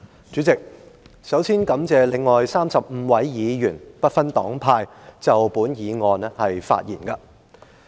主席，首先感謝35位議員，不分黨派就本議案發言。